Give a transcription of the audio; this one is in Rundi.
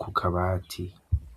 kukabati